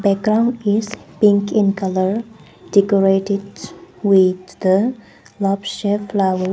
background is pink in colour decorated with the love shape flower.